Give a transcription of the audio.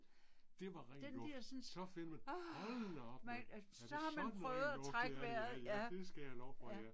Det var ren luft. Så fik man, hold da op ja, er det sådan det er at lufte ja ja ja det skal jeg love for ja